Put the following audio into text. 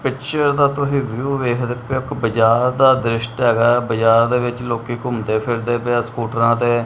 Picture ਦਾ ਤੁਹੀ view ਵੇਖਦੇ ਪਏ ਹੋ ਇੱਕ ਬਾਜ਼ਾਰ ਦਾ ਦਰਿਸ਼ਟ ਹੈਗਾ ਐ ਬਾਜ਼ਾਰ ਦੇ ਵਿੱਚ ਲੋਕੀ ਘੁੰਮਦੇ ਫਿਰਦੇ ਪਏ ਆ ਸਕੂਟਰਾਂ ਤੇ।